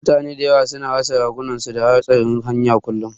Mutane da yawa su na rasa rayukansu ta hatsarin hanya kullum